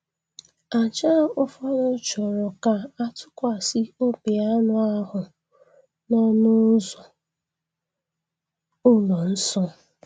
Àjà ụfọdụ chọrọ ka a tụkwasị obi anụ ahụ n’ọnụ ụzọ ụlọ nsọ ahụ.